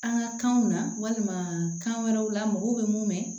An ka kanw na walima kan wɛrɛw la mɔgɔw bɛ mun mɛn